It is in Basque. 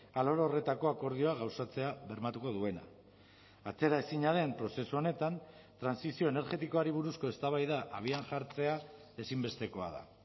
alor horretako akordioa gauzatzea bermatuko duena atzeraezina den prozesu honetan trantsizio energetikoari buruzko eztabaida abian jartzea ezinbestekoa da